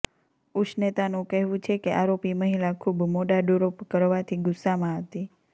ઉષ્નેતાનું કહેવું છે કે આરોપી મહિલા ખુબ મોડા ડ્રોપ કરવાથી ગુસ્સામાં હતી